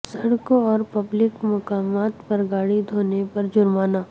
سڑکوں اور پبلک مقامات پر گاڑی دھونے پر جرمانہ